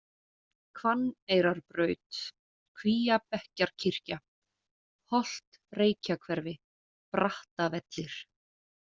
Hvanneyrarbraut, Kvíabekkjarkirkja, Holt Reykjahverfi, Brattavellir